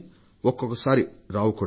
ఒక్కొక్కసారి రావు కూడా